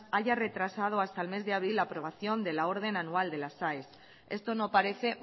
haya retrasado hasta el mes de abril la aprobación de la orden anual de las aes esto no parece